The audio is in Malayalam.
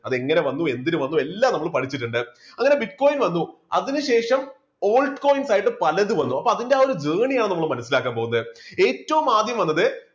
അതെങ്ങനെ വന്നു എന്തിനു വന്നു എല്ലാം നമ്മൾ പഠിച്ചിട്ടുണ്ട്. അങ്ങനെ bitcoin വന്നു. അതിനുശേഷം altcoins ആയിട്ട് പലതും വന്നു അപ്പോ അതിൻറെ ആ ഒരു journey യാണ് നമ്മൾ മനസ്സിലാക്കാൻ പോകുന്നത് ഏറ്റവും ആദ്യം വന്നത്